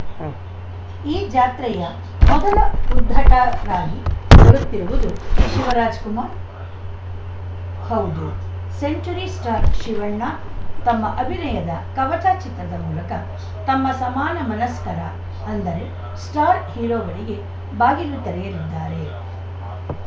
ಉಂ ಈ ಜಾತ್ರೆಯ ಮೊದಲ ಉದ್ಘಾಟರಾಗಿ ಬರುತ್ತಿರುವುದು ಶಿವರಾಜ್‌ಕುಮಾರ್‌ ಹೌದು ಸೆಂಚುರಿ ಸ್ಟಾರ್‌ ಶಿವಣ್ಣ ತಮ್ಮ ಅಭಿನಯದ ಕವಚ ಚಿತ್ರದ ಮೂಲಕ ತಮ್ಮ ಸಮಾನ ಮನಸ್ಕರ ಅಂದರೆ ಸ್ಟಾರ್‌ ಹೀರೋಗಳಿಗೆ ಬಾಗಿಲು ತೆರೆಯಲಿದ್ದಾರೆ